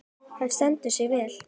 Hann stendur sig vel.